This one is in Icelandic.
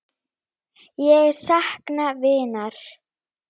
Ég sakna vinar.